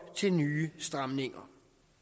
til nye stramninger